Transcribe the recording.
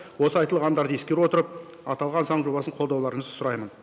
осы айтылғандарды ескере отырып аталған заң жобасын қолдауларыңызды сұраймын